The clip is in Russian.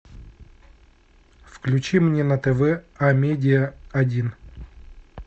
включи мне на тв амедиа один